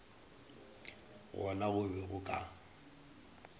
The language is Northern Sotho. gona go be go ka